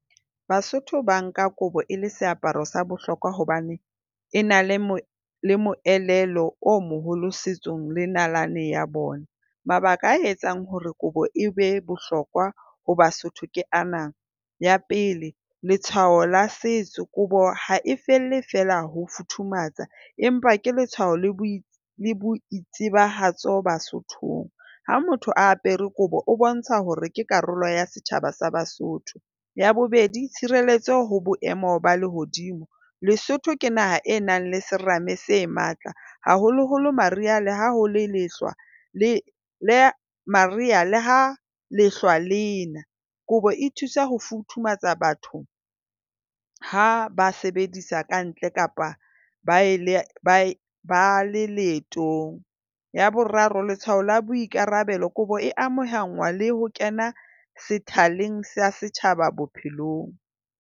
Basotho ba nka kobo e le seaparo sa bohlokwa hobane e na le o moelelo o moholo setsong le nalaneng ya bona. Mabaka a etsang hore kobo e be bohlokwa ho Basotho ke ana. Ya pele, letshwao la setso. Kobo ha e felle fela ho futhumatsa empa ke letshwao le boitsebahatso Basothong. Ha motho a apere kobo o bontsha hore ke karolo ya setjhaba sa Basotho. Ya bobedi, tshireletso ho boemo ba lehodimo. Lesotho ke naha enang le serame se matla, haholoholo Mariha le ha ho le lehlwa, le Mariha le ha lehlwa le na. Kobo e thusa ho futhumatsa batho ha ba sebedisa kantle kapa ba le leetong. Ya boraro, letshwao la boikarabelo. Kobo e amahangwa le ho kena sethaleng setjhaba bophelong.